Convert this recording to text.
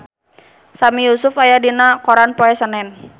Sami Yusuf aya dina koran poe Senen